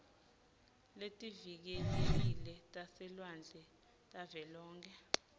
letivikelekile taselwandle tavelonkhe